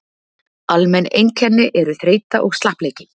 almenn einkenni eru þreyta og slappleiki